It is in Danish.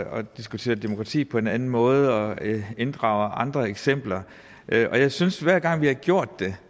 og diskuterer demokrati på en anden måde og inddrager andre eksempler jeg synes at hver gang vi har gjort det